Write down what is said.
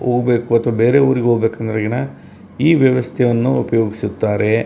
ಬೇರೆ ಊರಿಗ್ ಹೋಗ್ಬೇಕು ಅನ್ನೋರ್ಗೆನ್ ಈ ವೆವಸ್ಥೆ ಅನ್ನು ಉಪಯೋಗಿಸುತ್ತಾರೆ.